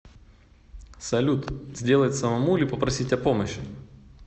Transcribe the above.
салют сделать самому или попросить о помощи